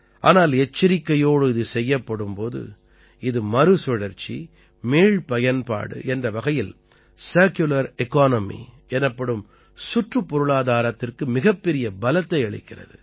ஆனால் எச்சரிக்கையோடு இது செய்யப்படும் போது இது மறுசுழற்சி மீள்பயன்பாடு என்ற வகையில் சர்க்குலர் எக்கனாமி எனப்படும் சுற்றுப்பொருளாதாரத்திற்கு மிகப்பெரிய பலத்தை அளிக்கிறது